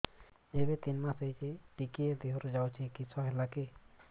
ଏବେ ତିନ୍ ମାସ ହେଇଛି ଟିକିଏ ଦିହରୁ ଯାଉଛି କିଶ ହେଲାକି